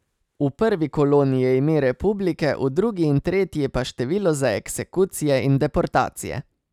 V prvi koloni je ime republike, v drugi in tretji pa število za eksekucije in deportacije.